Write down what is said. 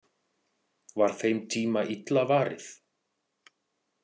Var þeim tíma illa varið?